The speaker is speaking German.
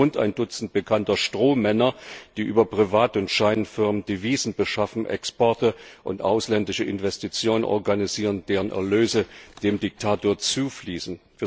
So gibt es rund ein Dutzend bekannter Strohmänner, die über private Firmen und Scheinfirmen Devisen beschaffen und Exporte und ausländische Investitionen organisieren, deren Erlöse dem Diktator zufließen.